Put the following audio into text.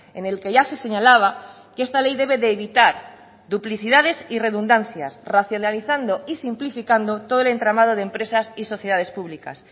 en el que ya se señalaba que esta ley debe de evitar duplicidades y redundancias racionalizando y simplificando todo el entramado de empresas y sociedades públicas